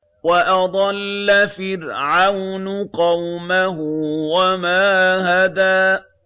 وَأَضَلَّ فِرْعَوْنُ قَوْمَهُ وَمَا هَدَىٰ